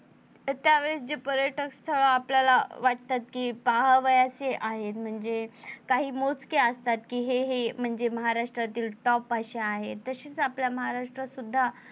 त्यावेळेस जे पर्यटक स्थळ आपल्याला वाटतात कि पाहाव्यासे आहेत म्हणजे काही मोजके असतात कि हे हे म्हणजे महाराष्ट्रातील top असे आहेत तसेच आपल्या महाराष्ट्रात सुद्धा,